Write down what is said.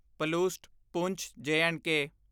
ਪਲੂਸਟ ਪੂੰਛ ਜ ਐਂਡ ਕੇ